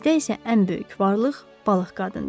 Bizdə isə ən böyük varlıq balıq qadındır.